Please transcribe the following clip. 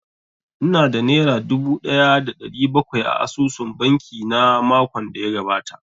Ina da nera dubu ɗaya da ɗari bakwai a asusun banki na makon da ya gabata